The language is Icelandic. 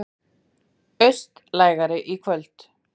Austlægari í kvöld